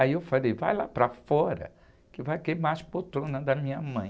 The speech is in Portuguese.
Aí eu falei, vai lá para fora, que vai queimar as poltronas da minha mãe.